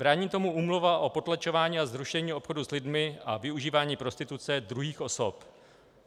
Brání tomu Úmluva o potlačování a zrušení obchodu s lidmi a využívání prostituce druhých osob.